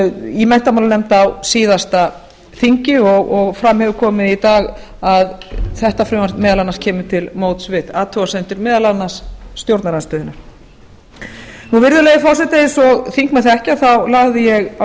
í menntamálanefnd á síðasta þingi og fram hefur komið í dag að þetta frumvarp kemur til móts við athugasemdir meðal annars stjórnarandstöðunnar virðulegi forseti eins og þingmenn þekkja lagði ég á